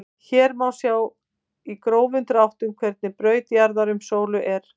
Hér má sjá í grófum dráttum hvernig braut jarðar um sólu er.